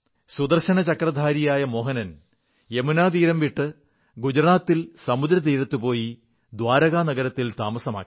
സുദർശനചക്രധാരിയായ മോഹനൻ യമുനാതീരം വിട്ട് ഗുജറാത്തിൽ സമുദ്രതീരത്ത് പോയി ദ്വാരകാ നഗരത്തിൽ താമസമാക്കി